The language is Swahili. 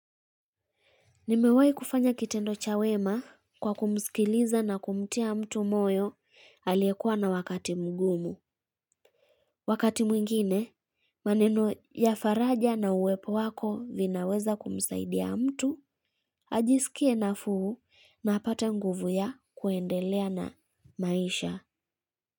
Nimewahi kufanya kitendo cha wema kwa kumsikiliza na kumtia mtu moyo aliyekuwa na wakati mgumu. Wakati mwingine, maneno ya faraja na uwepo wako vinaweza kumsaidia mtu, ajisikie nafuu na apate nguvu ya kuendelea na maisha.